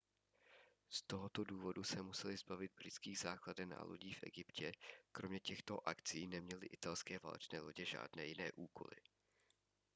z tohoto důvodu se museli zbavit britských základen a lodí v egyptě kromě těchto akcí neměly italské válečné lodě žádné jiné úkoly